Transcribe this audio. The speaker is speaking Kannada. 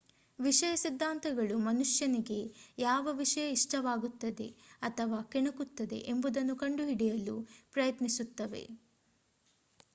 ವಿಷಯ ಸಿದ್ದಾಂತಗಳು ಮನುಷ್ಯನಿಗೆ ಯಾವ ವಿಷಯ ಇಷ್ಟವಾಗುತ್ತದೆ ಅಥವಾ ಕೆಣಕುತ್ತದೆ ಎಂಬುದನ್ನು ಕಂಡುಹಿಡಿಯಲು ಪ್ರಯತ್ನಿಸುತ್ತವೆ